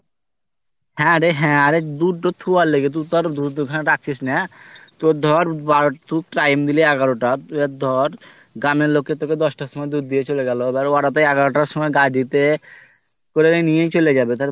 হ্যাঁ রে হ্যাঁ অরে দুধ তো থুয়ার লেগে তুই তো আর দুধ ওইখানে রাখছিস না তোর ধর বারোটা তু টাইম দিলি এগারোটা আর ধর গ্রামের লোকে তোকে দশটার সময় দুধ দিয়া চলে গেলো এবার ওরাতো এগারোটার সময় গাই দুইতে ওরা তো নিয়েই চলা যাবে তাহলে